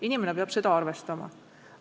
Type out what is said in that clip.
Inimene peab seda arvestama.